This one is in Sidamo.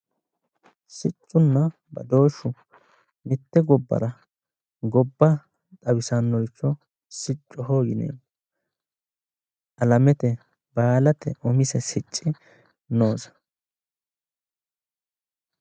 Siccunna badooshshu mitte gobbara gobba xawisannoricho siccoho yineemmo alamete umise sicci noose